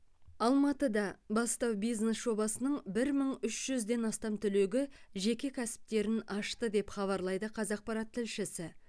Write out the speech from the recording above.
алматыда бастау бизнес жобасының бір мың үш жүзден астам түлегі жеке кәсіптерін ашты деп хабарлайды қазақпарат тілшісі